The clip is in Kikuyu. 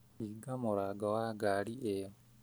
Hinga mũrango wa ngari ĩyo